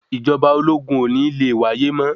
Ìjọba ológun ò ní le wáyé mọ́.